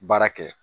Baara kɛ